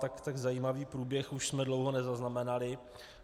Tak zajímavý průběh už jsme dlouho nezaznamenali.